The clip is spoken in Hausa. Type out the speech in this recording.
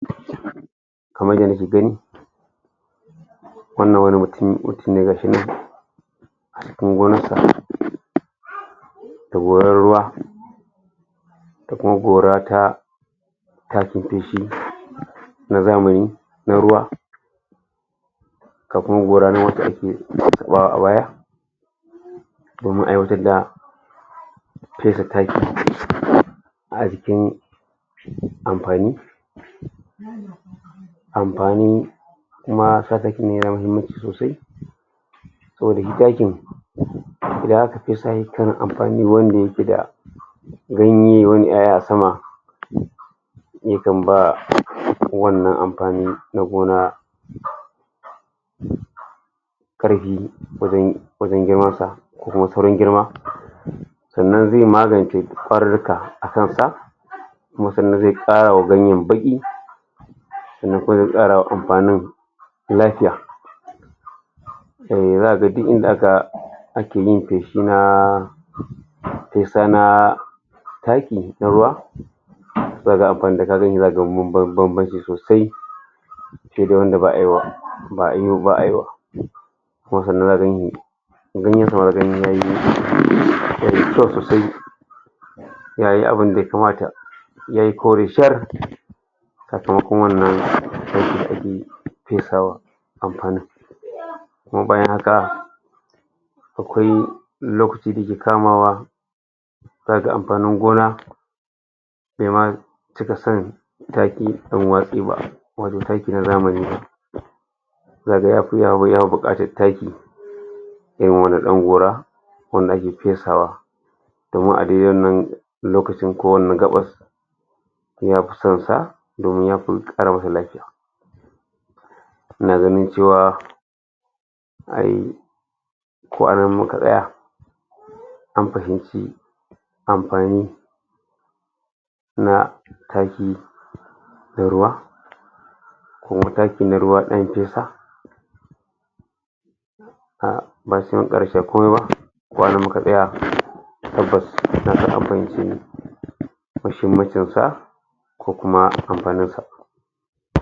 kamar ya nake gani wannan wani matun gashinan cikin gonansa da goran ruwa, da kuma gora ta ta tafi da shi na zamani na ruwa da kuma gora na a baya domin aiwatar da fesa taki a cikin amfani, amfanin kuma ya zo muku sosai, saboda takin da aka fi sa shi kan amfani wanda yake da ganye, wani 'ya'ya a sama yakan ba wannan amfani na gona karfi wajen, wajen girmar sa ko kuwa saurin girma. Sannan zai magance kwarurruka a kansa kuma sannan zai kara wa ganyen baki sannan kuma kara wa amfanin lafiya. um zaka ga duk inda aka, ake yin feshi na fesa na taki na ruwa, zaka ga akwai inda, kaga inda zaka ga babban-babbanci sosai ke da wanda ba a yi wa, ba a yi, ba ayi wa ka gani kamar ganyen yayi kyau sosai zayi abun ya kamata yayi kori shar! Kafin kuma wannan fesawa amfanin. Kuma bayan haka, akwai lokaci da ke kamawa, zaka ga amfanin gona kai ma, cika son taki wato taki na zamani. biya bukatar taki dan wani dan gora wanda ake fesawa kaman a daidai wannan lokacin ko wannan gabas yafi son sa don ya kara masa lafiya. Ina ganin cewa ai... ko a nan muka tsaya an fahimci amfani na taki na ruwa koma taki na ruwa zan fesa a um daya muhimmancin sa ko kuma amfanin sa.